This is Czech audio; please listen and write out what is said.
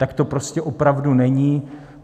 Tak to prostě opravdu není.